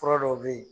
Fura dɔw bɛ yen